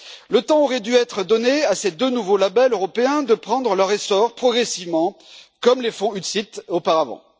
Le temps aurait dû être donné à ces deux nouveaux labels européens de prendre leur essor progressivement, comme les fonds UCITS auparavant.